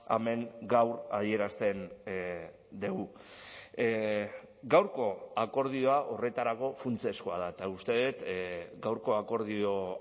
hemen gaur adierazten dugu gaurko akordioa horretarako funtsezkoa da eta uste dut gaurko akordio